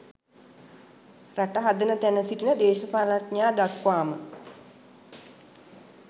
රට හදන තැන සිටින දේශපාලනඥයා දක්වාම